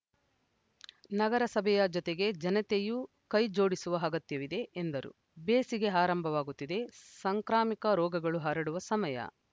ನಗರಸಭೆಯ ಜೊತೆಗೆ ಜನತೆಯೂ ಕೈಜೋಡಿಸುವ ಅಗತ್ಯವಿದೆ ಎಂದರು ಬೇಸಿಗೆ ಆರಂಭವಾಗುತ್ತಿದೆ ಸಾಂಕ್ರಾಮಿಕ ರೋಗಗಳು ಹರಡುವ ಸಮಯ